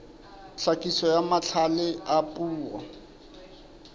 tlhakiso ya mahlale a puo